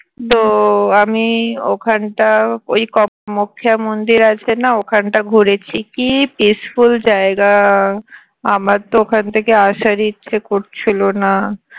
তো আমি ওখানটা ওই . মন্দির আছে না ওখানটা ঘুরেছি কি peaceful জায়গা আমার তো ওখান থেকে আসারই ইচ্ছা করছিলো না